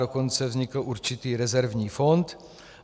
Dokonce vznikl určitý rezervní fond.